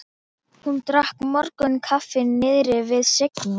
Hún drakk morgunkaffi niðri við Signu.